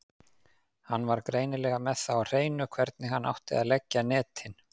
Hann var greinilega með það á hreinu hvernig hann átti að leggja netin.